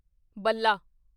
ਬੱਲਾ